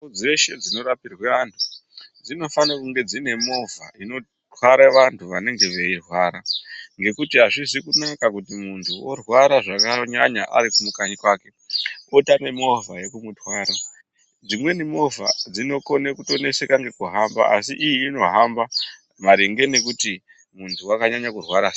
Nzvimbo dzeshe dzinorapirwe antu dzinofanirwe kunge dzine movha inotware vantu vanenge veirwara, ngekuti azvizi kunaka kuti munhtu orwara zvakanyanya ari kanyi kwake otame movha yekumu twara. Dzimweni movha dzinokone kutoneseka ngekuhamba asi iyi inohamba maringe nekuti muntu wakanyanya kurwara sei.